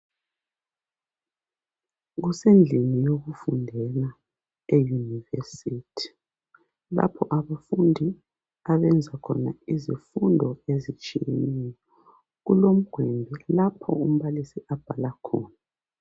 Kusendlini yokufundela eyunivesithi lapha abafundi abenza khona izifundo ezitshiyeneyo. Kulomgwembe lapho umbalisi abhala khona.